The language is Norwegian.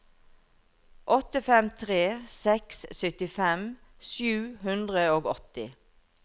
åtte fem tre seks syttifem sju hundre og åtti